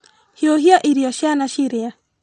Hiũhia irio ciana cirĩe.